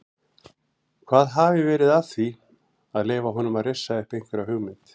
Hvað hafi verið að því að leyfa honum að rissa upp einhverja hugmynd?